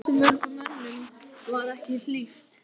Hversu mörgum mönnum var ekki hlíft?